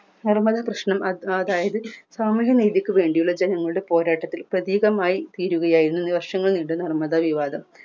നർമദ കൃഷ്ണ അത് അതായത് തമിഴ് നീതിക്കു വേണ്ടിയുള്ള ജനങ്ങളുടെ പോരാട്ടത്തിൽ പ്രതീകമായി തീരുകയായിരുന്നു വർഷങ്ങൾ വിവാദം